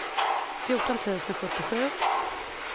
fjorton tusen sjuttiosju